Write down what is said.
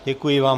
Děkuji vám.